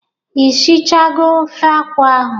Ishichago ofe akwụ ahụ?